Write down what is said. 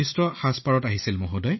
মই আঁঠুৰো অস্ত্ৰোপচাৰ কৰিছো